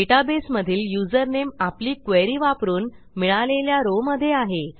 डेटाबेसमधील username आपली query वापरून मिळालेल्या rowमधे आहे